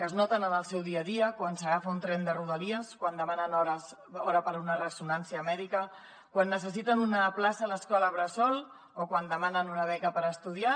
es noten en el seu dia a dia quan s’agafa un tren de rodalies quan demanen hora per a una ressonància mèdica quan necessiten una plaça a l’escola bressol o quan demanen una beca per estudiar